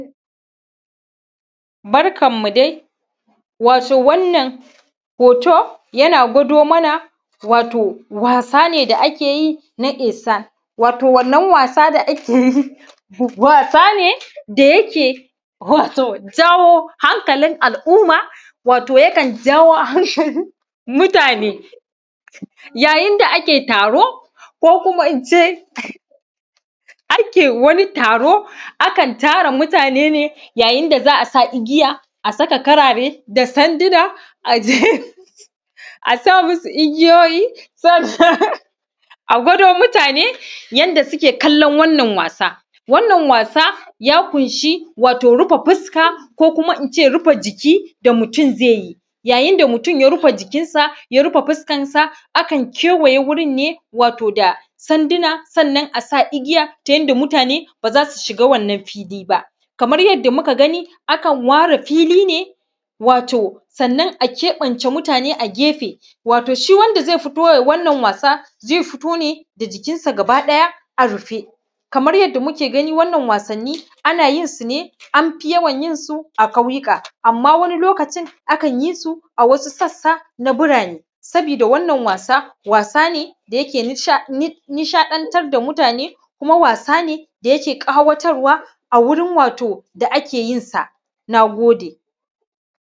barkan mu dai wato wannan hoto yana gwado mana wato wasa ne da akeyi na kesa wato wanna wasa da akeyi wasa ne da yake yi wato tsaho hakalin al'umma wato ǳakan yawo harshen mutane yayin da ake taro ko kuma ince ace wani taro akan tara mutane ne yayin da za a igiya a saka karare da sandina asa musu igijoji sas a gʷado mutane yanda suke kallan wannan wasa wannan wasa ya kunshi wato rufe fuska ko kuma ince rufe ǳiki da mutun zai yi yayin da mutun ya rufe ǳikin sa ya rufa fuskansa akan cewaye gurin ne wato da sanduna sannan asa igiya ta yanda mutane baza su siga wannan fili ba kaman yanda muka gani akan wara fili wato sannan a kebance mutane a gefe wato si wanda zai fito yai wannan wasa ai fito ne da ǳikin sa gaba daya a rufe kaman yanda muke gani wannan wasanni ana yinsu ne an fi yawan yinsu a kauyika amma wani lokacin akan yi su a wasu sassana burane sabida wannan wasa wasa ne da yake nisha dan tar da mutane kuma wasa ne dake ƙayatarwa a wurin wato ake yinsa nagode